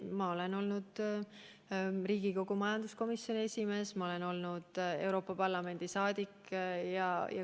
Ma olen olnud Riigikogu majanduskomisjoni esimees, ma olen olnud Euroopa Parlamendi liige.